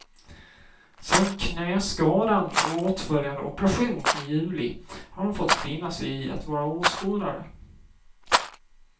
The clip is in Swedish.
Sen knäskadan och åtföljande operation i juli har han fått finna sig i att vara åskådare.